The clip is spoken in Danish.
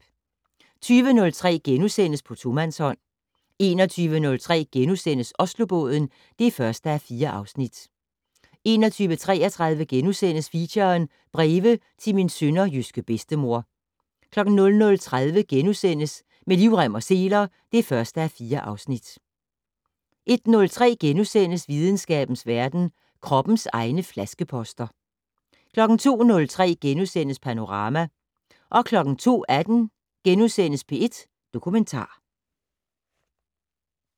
20:03: På tomandshånd * 21:03: Oslobåden (1:4)* 21:33: Feature: Breve til min sønderjyske bedstemor * 00:30: Med livrem og seler (1:4)* 01:03: Videnskabens verden: Kroppens egne flaskeposter * 02:03: Panorama * 02:18: P1 Dokumentar *